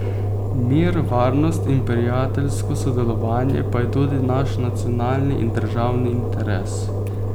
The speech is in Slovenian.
Mir, varnost in prijateljsko sodelovanje pa je tudi naš nacionalni in državni interes.